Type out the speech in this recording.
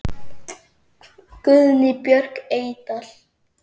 Guðný Björk Eydal.